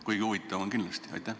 Kuigi huvitav kuulata on kindlasti.